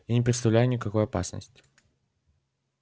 я не представляю никакой опасности